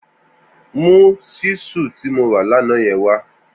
Mù ṣisú ti mó rà làná yèn wà